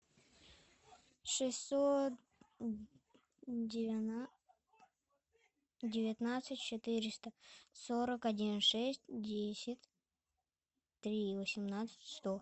шестьсот девятнадцать четыреста сорок один шесть десять три восемнадцать сто